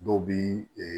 Dɔw bi